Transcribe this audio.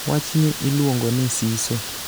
wachni iluongo ni siso